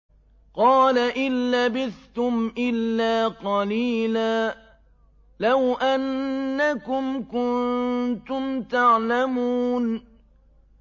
قَالَ إِن لَّبِثْتُمْ إِلَّا قَلِيلًا ۖ لَّوْ أَنَّكُمْ كُنتُمْ تَعْلَمُونَ